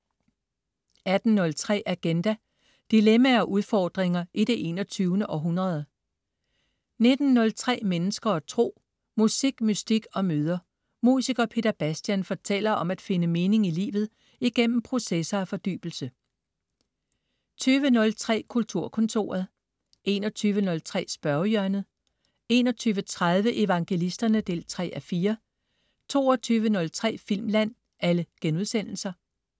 18.03 Agenda. Dilemmaer og udfordringer i det 21. århundrede 19.03 Mennesker og Tro. Musik, mystik og møder. Musiker Peter Bastian fortæller om at finde mening i livet igennem processer af fordybelse 20.03 Kulturkontoret* 21.03 Spørgehjørnet* 21.30 Evangelisterne 3:4* 22.03 Filmland*